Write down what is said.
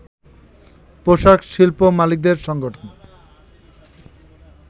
পোশাক শিল্প মালিকদের সংগঠন